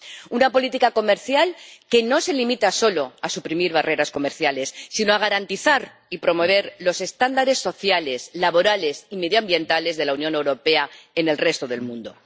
Una política comercial que no se limita solo a suprimir barreras comerciales, sino a garantizar y promover los estándares sociales, laborales y medioambientales de la Unión Europea en el resto del mundo.